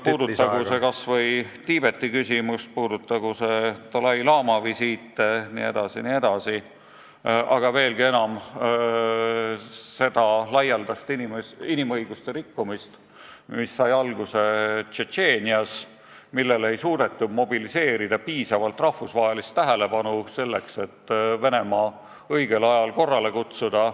Puudutagu see kas või Tiibeti küsimust, puudutagu see dalai-laama visiite, aga veelgi enam seda laialdast inimõiguste rikkumist, mis sai alguse Tšetšeenias ja millele ei suudetud mobiliseerida piisavalt rahvusvahelist tähelepanu, et Venemaa õigel ajal korrale kutsuda.